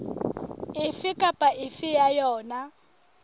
efe kapa efe ya yona